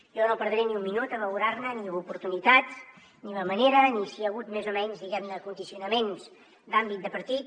jo no perdré ni un minut a valorar ne ni l’oportunitat ni la manera ni si hi ha hagut més o menys diguem ne condicionaments d’àmbit de partit